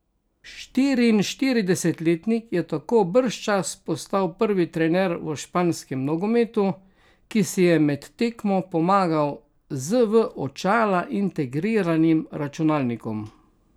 Štiriinštiridesetletnik je tako bržčas postal prvi trener v španskem nogometu, ki si je med tekmo pomagal z v očala integriranim računalnikom.